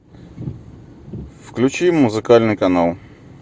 включи музыкальный канал